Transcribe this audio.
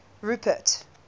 rupert